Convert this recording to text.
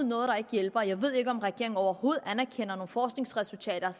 noget der ikke hjælper jeg ved ikke om regeringen overhovedet anerkender forskningsresultater